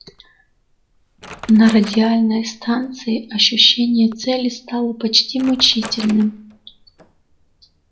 на радиальной станции ощущение цели стало почти мучительным